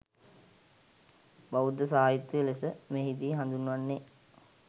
බෞද්ධ සාහිත්‍යය ලෙස මෙහිදී හඳුන්වන්නේ,